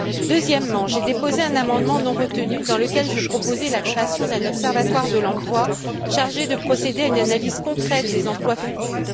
Deuxièmement, j'ai déposé un amendement non retenu dans lequel je proposais la création d'un observatoire de l'emploi chargé de procéder à une analyse concrète des emplois futurs.